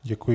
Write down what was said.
Děkuji.